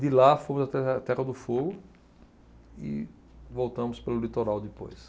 De lá fomos até a Terra do Fogo e voltamos pelo litoral depois.